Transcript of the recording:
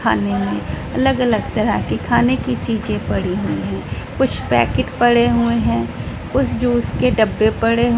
खाने में अलग-अलग तरह के खाने की चीजें पड़ी हुई हैं कुछ पैकेट पड़े हुए हैं कुछ जूस के डब्बे पड़े --